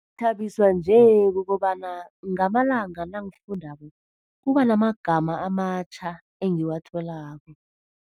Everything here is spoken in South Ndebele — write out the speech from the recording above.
Uthabiswa nje kukobana ngamalanga nangifundako kuba namagama amatjha engiwatholako.